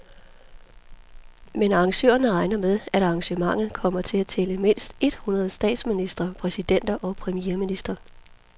Men arrangørerne regner med, at arrangementet kommer til at tælle mindst et hundrede statsministre, præsidenter og premierministre.